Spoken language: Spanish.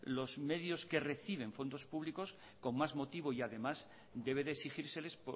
los medios que reciben fondos públicos con más motivo y además debe de exigírseles